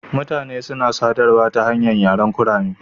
Mutane suna sadarwa ta hanyar yaren kurame.